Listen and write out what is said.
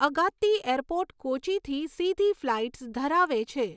Agatti airport કોચીથી સીધી flights ધરાવે છે.